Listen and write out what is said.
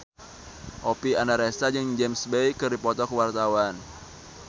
Oppie Andaresta jeung James Bay keur dipoto ku wartawan